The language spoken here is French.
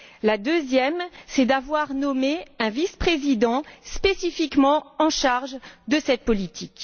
La deuxième est d'avoir nommé un vice président spécifiquement en charge de cette politique.